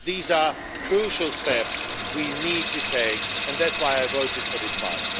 These are crucial steps we need to take, and that is why I voted for this file.